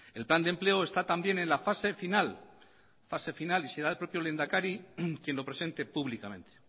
el plan de empleo está también en la fase final y será el propio lehendakari quien lo presente públicamente